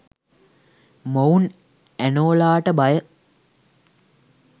මොවුන් ඇනෝලාට බය